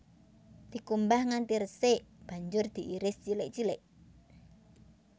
Dikumbah nganti resik banjur diiris cilik cilik